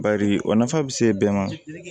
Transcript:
Bari o nafa bɛ se bɛɛ ma